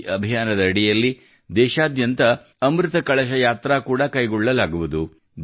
ಈ ಅಭಿಯಾನದ ಅಡಿಯಲ್ಲಿ ದೇಶಾದ್ಯಂತ ಅಮೃತ ಕಳಶ ಯಾತ್ರಾ ಕೂಡಾ ಕೈಗೊಳ್ಳಲಾಗುವುದು